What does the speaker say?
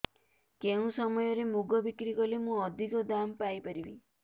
କେଉଁ ସମୟରେ ମୁଗ ବିକ୍ରି କଲେ ମୁଁ ଅଧିକ ଦାମ୍ ପାଇ ପାରିବି